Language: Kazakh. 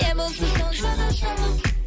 не болса соны жаза салып